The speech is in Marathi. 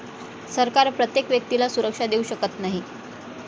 सरकार प्रत्येक व्यक्तीला सुरक्षा देऊ शकत नाही.